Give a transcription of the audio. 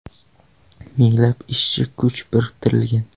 Minglab ishchi kuchi biriktirilgan.